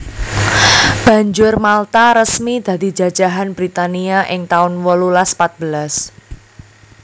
Banjur Malta resmi dadi jajahan Britania ing taun wolulas patbelas